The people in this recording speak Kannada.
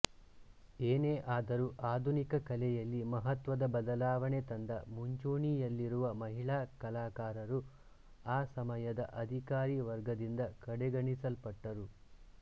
ಏನೇ ಆದರೂ ಆಧುನಿಕ ಕಲೆಯಲ್ಲಿ ಮಹತ್ವದ ಬದಲಾವಣೆ ತಂದ ಮುಂಚೂಣಿಯಲ್ಲಿರುವ ಮಹಿಳಾ ಕಲಾಕಾರರು ಆ ಸಮಯದ ಅಧಿಕಾರಿ ವರ್ಗದಿಂದ ಕಡೆಗಣಿಸಲ್ಪಟ್ಟರು